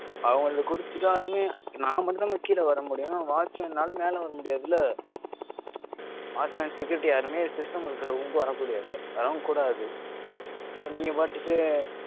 அவங்க கிட்ட கொடுத்துட்டாலுமே நான் மட்டும் தான் madam கீழே வரமுடியும். watchman ஆல மேல வரமுடியதுல்ல watchman security யாருமே system இருக்கிற room க்கு வர முடியாது வரவும் கூடாது. நீங்க பாட்டுக்கு